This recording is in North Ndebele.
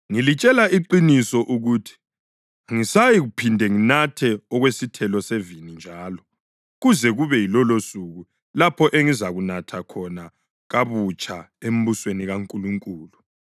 Ngilitshela iqiniso ukuthi angisayikuphinda nginathe okwesithelo sevini njalo, kuze kube yilolosuku lapho engizakunatha khona kabutsha embusweni kaNkulunkulu.”